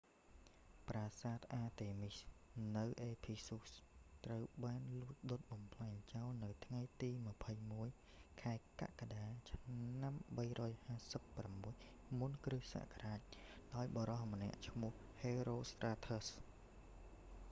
ប្រាសាទអាតេមីស​ artemis នៅអេភីស៊ុស ephesus ត្រូវបានលួច​ដុត​​បំផ្លាញចោល​នៅថ្ងៃទី 21 ខែកក្កដា ឆ្នាំ 356 មុនគ.ស.​ ​​ដោយបុរស​ម្នាក់​ឈ្មោះ​ ហេរ៉ូស្ត្រាធើស ​herostratus។